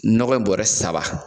Nɔgɔ in bɔrɛ saba